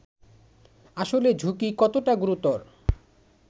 আসলে ঝুঁকি কতটা গুরুতর